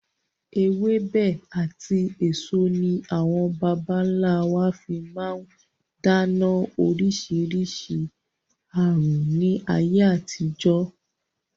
Ewébẹ̀ àti èso ní àwọn bàbà ńlá wa fi máa ń dènà oríṣiríṣi aàrùn ni ayé àtijọ́.